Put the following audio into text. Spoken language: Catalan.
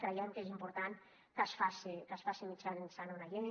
creiem que és important que es faci mitjançant una llei